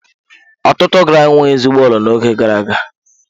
Ọtụtụ GRA enweghị ezigbo ụlọ n'oge gara aga.